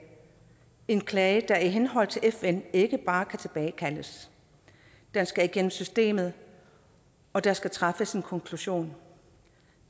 en klage der i henhold til fn ikke bare kan tilbagekaldes den skal igennem systemet og der skal træffes en konklusion